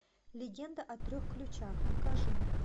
легенда о трех ключах покажи